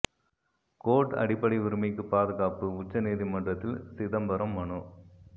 court அடிப்படை உரிமைக்கு பாதுகாப்பு உச்ச நீதிமன்றத்தில் சிதம்பரம் மனு